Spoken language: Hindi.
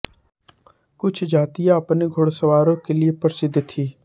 कुछ जातियाँ अपने घुड़सवारों के लिये प्रसिद्ध थीं